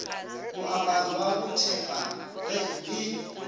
moaparo wa bothepa ge e